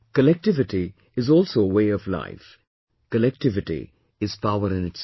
Collectivity is also a way of life, collectivity is power in itself